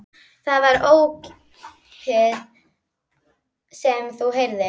Það var ópið sem þú heyrðir.